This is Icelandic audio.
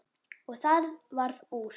Og það varð úr.